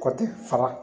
Kɔkɔ tɛ fara